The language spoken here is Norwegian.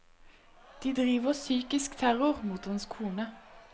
De driver psykisk terror mot hans kone.